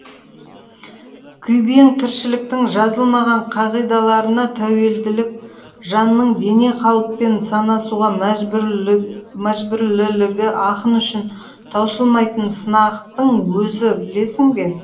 күйбең тіршіліктің жазылмаған қағидаларына тәуелділік жанның дене қалыппен санасуға мәжбүрлілігі ақын үшін таусылмайтын сынақтың өзі білесің бе